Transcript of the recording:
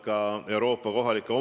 Küsijaks on kolleeg Riina Sikkut.